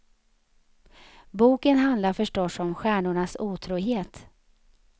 Boken handlar förstås om stjärnornas otrohet.